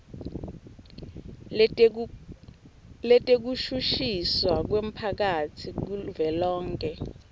letekushushiswa kwemphakatsi kuvelonkhe